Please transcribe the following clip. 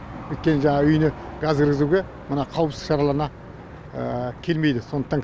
өйткені жаңа үйіне газ кіргізуге мына қауіпсіз шараларына келмейді сондықтан